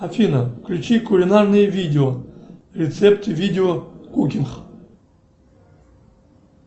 афина включи кулинарное видео рецепты видео кукинг